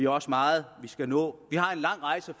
også meget vi skal nå vi har en lang rejse